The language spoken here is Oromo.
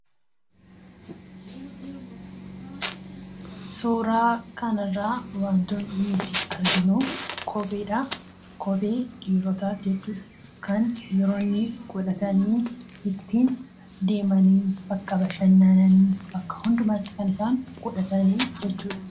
Suuraa kana irraa wanti nuti arginu kopheedha dhiirotaati. Dhiironnis godhatanii bakka bashannanas ta'u, bakka biroollee deemanidha.